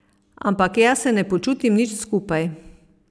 Ampak jaz se ne počutim nič skupaj.